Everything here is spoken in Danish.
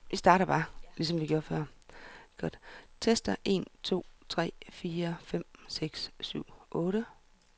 Tester en to tre fire fem seks syv otte.